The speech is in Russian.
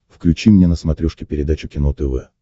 включи мне на смотрешке передачу кино тв